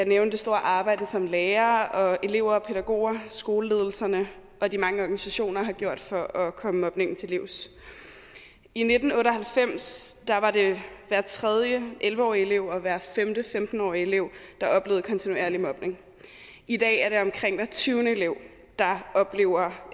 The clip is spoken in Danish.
nævne det store arbejde som lærere og elever og pædagoger skoleledelserne og de mange organisationer har gjort for at komme mobningen til livs i nitten otte og halvfems var det hver tredje elleve årige elev og hver femte femten årige elev der oplevede kontinuerlig mobning i dag er det omkring hver tyvende elev der oplever